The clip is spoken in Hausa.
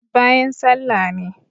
bayan sallah ne